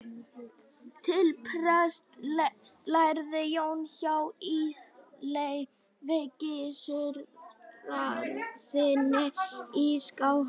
til prests lærði jón hjá ísleifi gissurarsyni í skálholti